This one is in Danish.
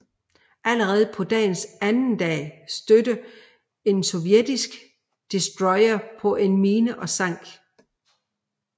Allerede på dagens anden dag stødte en sovjetisk destroyer på en mine og sank